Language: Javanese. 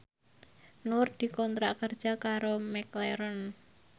Nur dikontrak kerja karo McLaren